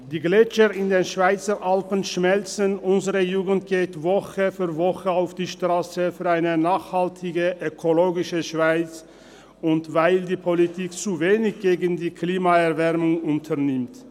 Die Gletscher in den Schweizer Alpen schmelzen, unsere Jugend geht Woche für Woche auf die Strasse für eine nachhaltige und ökologische Schweiz, weil die Politik zu wenig gegen die Klimaerwärmung unternimmt.